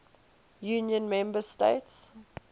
union member states